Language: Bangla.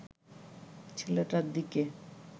ছেলেটার দিকে